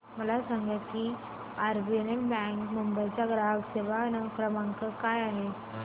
मला सांगा की आरबीएल बँक मुंबई चा ग्राहक सेवा क्रमांक काय आहे